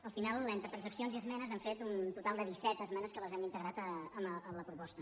al final entre transaccions i esmenes hem fet un total de disset esmenes que les hem integrat a la proposta